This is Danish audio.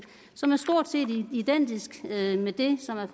som er stort set identisk med det som er